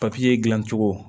Papiye dilancogo